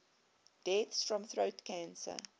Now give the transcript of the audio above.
deaths from throat cancer